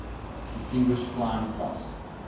distinguished flying cross